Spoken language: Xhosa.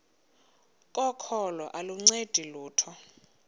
kokholo aluncedi lutho